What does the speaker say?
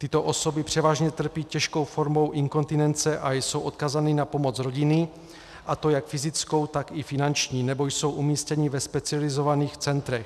Tyto osoby převážně trpí těžkou formou inkontinence a jsou odkázány na pomoc rodiny, a to jak fyzickou, tak i finanční, nebo jsou umístěny ve specializovaných centrech.